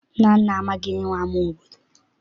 Nnanna amaghị ihe bụ ama obodo.